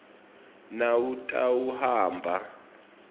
nawutawuhamba